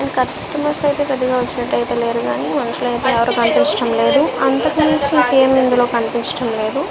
ఈ కస్టమర్స్ అయితే పెద్దగా ఎక్కువ వస్తున్నట్లు అయితే లేరు కానీ మనుషులైతే ఎవరూ కనిపించట్లేదు. అంతకుమించి ఇందులో ఇంకేం కనిపించట్లేదు.